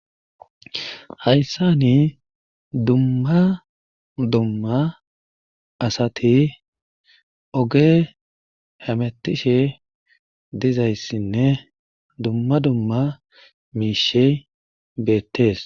Hayssan dumma dumma asati oge hemetishe dizayssinne dumma dumma miishshe beetees.